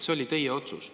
See oli teie otsus.